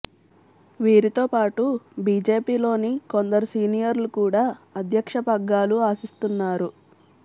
వీరితో పాటు బీజేపీ లోని కొందరు సీనియర్లు కూడా అధ్యక్ష పగ్గాలు ఆశిస్తున్నారు